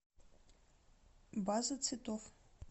база цветов